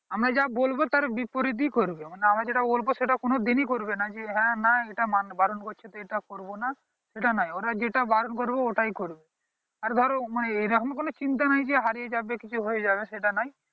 আমি যা বলবো তার বিপরীত ই করবে মানে আমরা যেটা বলবো সেটা কোনো দিন ই করবে না যে হ্যাঁ না এইটা বারণ করছে তো এইটা করবো না সেটাই নায়ে ওড়া যেটা বারণ করবো ওইটাই করবে আর ধরো এইরকম কোনো চিন্তা নেই যে হারিয়ে যাবে কিছু হয়ে যাবে সেটা নেই